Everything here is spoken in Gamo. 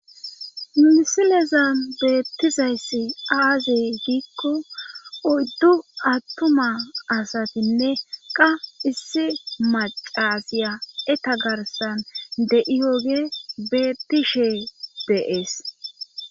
minisilezan beettizayssi aazey giikko oyddu attuma asatinne qa issi macasiya eta garsan de7iyoge beettishe deees